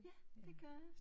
Ja det gør jeg